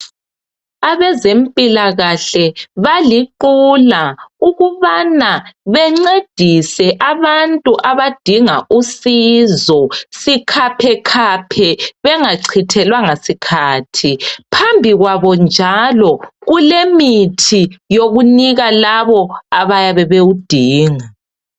Abezempilakahle baliqula ukubana bencedise abantu abadinga usizo sikhaphe khaphe bengachithelwanga sikhathi. Phambi kwabo njalo, kulemithi yokunika labo abayabe bewudinga.